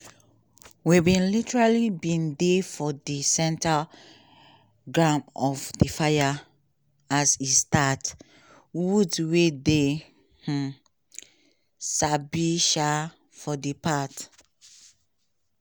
"we bin literally bin dey for di centre ground of di fire as e start" woods wey dey um sabi um for di part